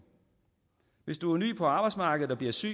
hvis du er ny på arbejdsmarkedet og bliver syg